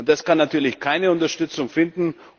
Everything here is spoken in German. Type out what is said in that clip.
Das kann natürlich keine Unterstützung finden.